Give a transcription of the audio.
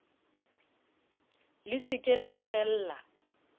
le se ke la kgella